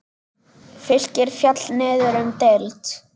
Fylkir féll niður um deild.